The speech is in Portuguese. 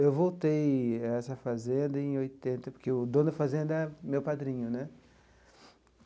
Eu voltei à essa fazenda em oitenta, porque o dono da fazenda é meu padrinho né.